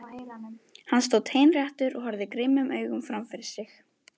Hann stóð teinréttur og horfði grimmum augum fram fyrir sig.